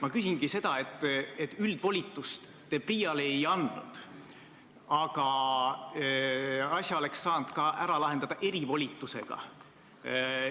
Üldvolitust te PRIA-le ei andnud, aga asja oleks saanud ära lahendada ka erivolitusega.